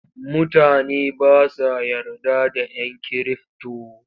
Mutane ba sa yarda da ‘yan kirifto.